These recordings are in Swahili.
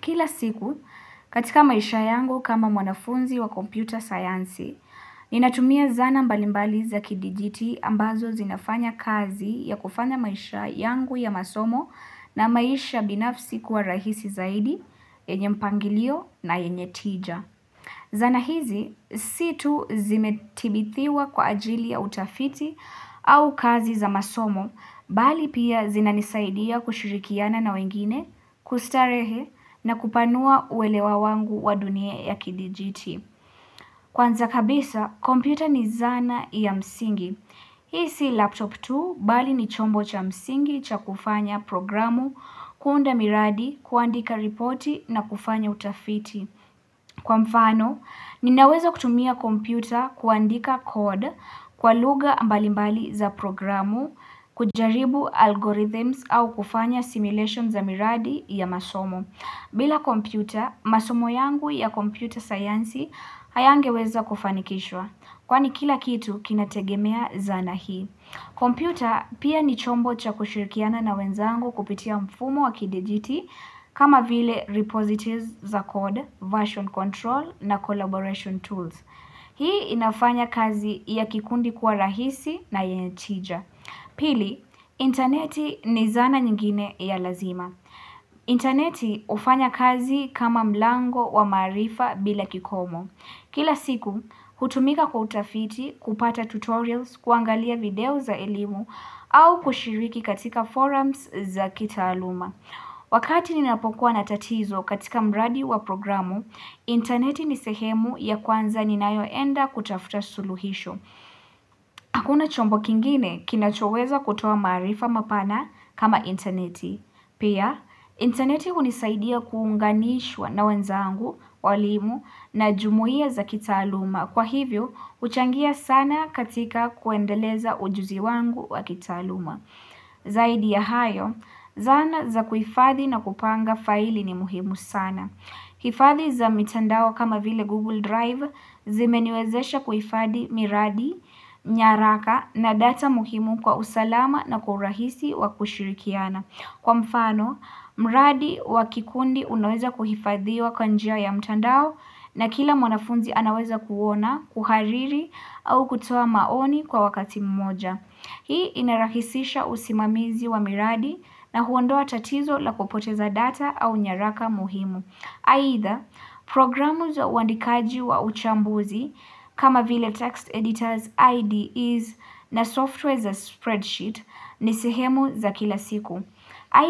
Kila siku katika maisha yangu kama mwanafunzi wa computer science, ninatumia zana mbalimbali za kidijiti ambazo zinafanya kazi ya kufanya maisha yangu ya masomo na maisha binafsi kuwa rahisi zaidi, yenye mpangilio na yenye tija. Zana hizi, situ zimetibithiwa kwa ajili ya utafiti au kazi za masomo, bali pia zinanisaidia kushirikiana na wengine, kustarehe na kupanua uelewa wangu wa dunia ya kidijiti. Kwanza kabisa, kompyuta ni zana ya msingi. Hii si laptop tu bali ni chombo cha msingi cha kufanya programu kuunda miradi kuandika ripoti na kufanya utafiti. Kwa mfano, ninaweza kutumia kompyuta kuandika code kwa lugha mbalimbali za programu, kujaribu algorithms au kufanya simulation za miradi ya masomo. Bila kompyuta, masomo yangu ya kompyuta sayansi hayangeweza kufanikishwa. Kwani kila kitu kinategemea zana hii. Kompyuta pia ni chombo cha kushirikiana na wenzangu kupitia mfumo wa kidijiti kama vile repositories za code, version control na collaboration tools. Hii inafanya kazi ya kikundi kuwa rahisi na yenye tija. Pili, interneti ni zana nyingine ya lazima. Interneti hufanya kazi kama mlango wa maarifa bila kikomo Kila siku, hutumika kutafiti kupata tutorials, kuangalia video za elimu au kushiriki katika forums za kitaaluma Wakati ninapokuwa na tatizo katika mradi wa programu, interneti ni sehemu ya kwanza ninayoenda kutafuta suluhisho Hakuna chombo kingine kinachoweza kutoa maarifa mapana kama interneti Pia, interneti hunisaidia kuunganishwa na wenzangu, walimu na jumuia za kitaaluma. Kwa hivyo, uchangia sana katika kuendeleza ujuzi wangu wa kitaluma. Zaidi ya hayo, zana za kuifadhi na kupanga faili ni muhimu sana. Hifadhi za mitandao kama vile Google Drive zimeniwezesha kuifadhi miradi, nyaraka na data muhimu kwa usalama na kwa urahisi wa kushirikiana. Kwa mfano, mradi wa kikundi unaweza kuhifadhiwa kwa njia ya mtandao na kila mwanafunzi anaweza kuona, kuhariri au kutoa maoni kwa wakati mmoja. Hii inarahisisha usimamizi wa miradi na huondoa tatizo la kupoteza data au nyaraka muhimu. Aidha, programu za uandikaji wa uchambuzi kama vile text editors, IDEs na software za spreadsheet ni sihemu za kila siku.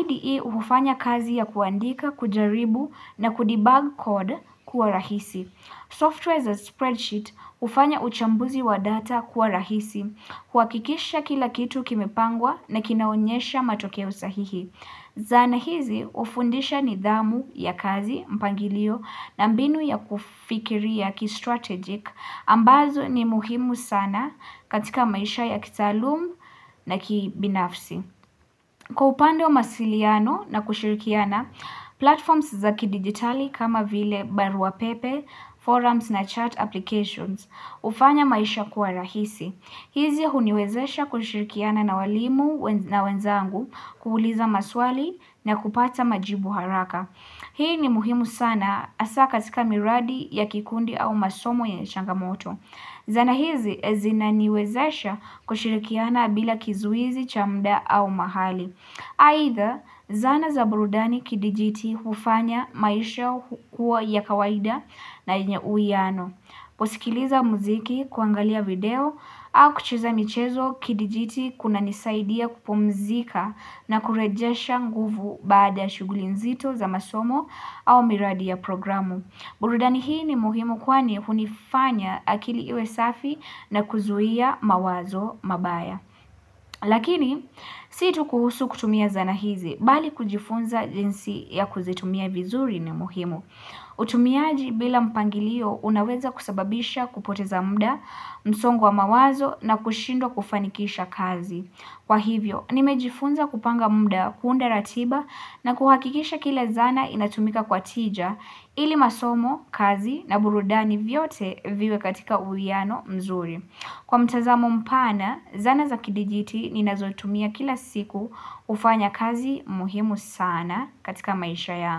IDE hufanya kazi ya kuandika, kujaribu na kudebug code kuwa rahisi. Software za spreadsheet ufanya uchambuzi wa data kuwa rahisi. Huhakikisha kila kitu kimepangwa na kinaonyesha matokeo sahihi. Zana hizi hufundisha nidhamu ya kazi mpangilio na mbinu ya kufikiria kistrategic ambazo ni muhimu sana katika maisha ya kitaalum na kibinafsi. Kwa upande wa masiliano na kushirikiana, platforms za kidigitali kama vile barua pepe, forums na chat applications hufanya maisha kuwa rahisi. Hizi huniwezesha kushirikiana na walimu na wenzangu kuuliza maswali na kupata majibu haraka. Hii ni muhimu sana hasa katika miradi ya kikundi au masomo yenye changamoto. Zana hizi zinaniwezesha kushirikiana bila kizuizi, cha mda au mahali. Aidha, zana za burudani kidijiti hufanya maisha kuwa ya kawaida na yenye uwiano. Kusikiliza muziki, kuangalia video, au kucheza michezo kidijiti kunanisaidia kupumzika na kurejesha nguvu baada ya shughuli nzito za masomo au miradi ya programu. Burudani hii ni muhimu kwani hunifanya akili iwe safi na kuzuia mawazo mabaya. Lakini si tu kuhusu kutumia zana hizi bali kujifunza jinsi ya kuzitumia vizuri ni muhimu. Utumiaji bila mpangilio unaweza kusababisha kupoteza mda msongo wa mawazo na kushindwa kufanikisha kazi. Kwa hivyo, nimejifunza kupanga muda kuunda ratiba na kuhakikisha kila zana inatumika kwa tija ili masomo, kazi na burudani vyote viwe katika uwiano mzuri. Kwa mtazamo mpana, zana za kidijiti ninazotumia kila siku hufanya kazi muhimu sana katika maisha yangu.